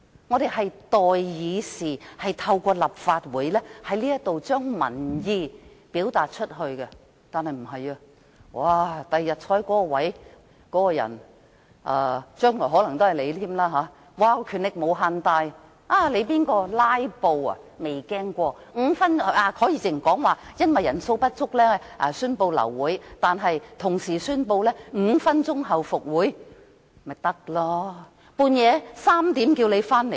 我們是代議士，在立法會表達民意，但將來的情況並不會這樣，日後坐在那個座位的人——將來可能仍然是你——權力無限大，誰"拉布"也不用擔心，如果因為法定人數不足而流會，他可以即時宣布5分鐘後復會，這樣子便行了。